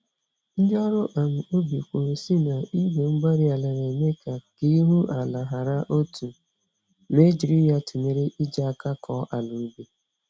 Ndị ọrụ um ubi kwuru sị na, Igwe-mgbárí-ala na-eme ka k'ihu-ala hara otú, ma e jiri ya tụnyere iji àkà akọ àlà ubi